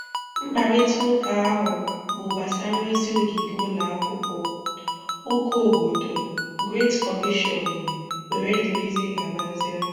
Mkparịta ụka ahụ bụ gbasara ozi ogige ụlọ akwụkwọ, ụka obodo, Great Commission, wdg